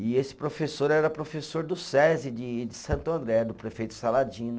E esse professor era professor do Sesi de de Santo André, do prefeito Saladino.